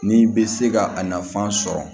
N'i bɛ se ka a nafan sɔrɔ